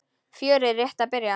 Fjörið er rétt að byrja!